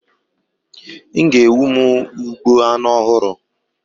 M ga-ewu m ugbo anu ohuru